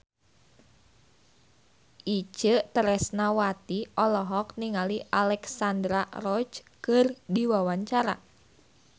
Itje Tresnawati olohok ningali Alexandra Roach keur diwawancara